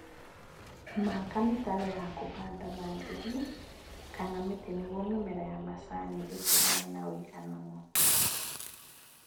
Maka mĩtaro ya kũhanda na ndigi kana mĩtĩ nĩguo mĩmera ya macani ĩtagane na ũigananu